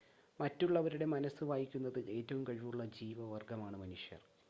മറ്റുള്ളവരുടെ മനസ്സ് വായിക്കുന്നതിൽ ഏറ്റവും കഴിവുള്ള ജീവവർഗ്ഗമാണ് മനുഷ്യർ